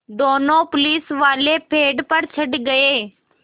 दोनों पुलिसवाले पेड़ पर चढ़ गए